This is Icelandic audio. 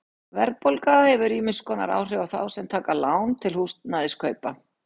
Verðbólga hefur ýmiss konar áhrif á þá sem taka lán til húsnæðiskaupa.